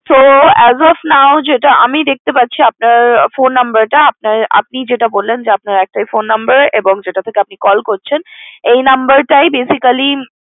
So as of now যেটা আমি দেখতে পাচ্ছি আপনার phone number টা যেটা বললেন যে আপনার একটাই phone number এবং যেটা থেকে আপনি call করছেন এই number টাই basically